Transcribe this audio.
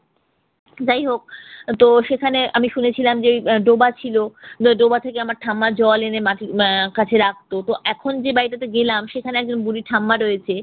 যাই হোক তো সেখানে আমি শুনেছিলাম যে ডোবা ছিল, ডোবা থেকে আমার ঠাম্মা জল এনে মাটির আহ কাছে রাখতো তো এখন যে বাড়িটাতে গেলাম সেখানে একজন বুড়ি ঠাম্মা রয়েছে